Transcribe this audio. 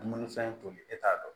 Dumunifɛn toli e t'a dɔn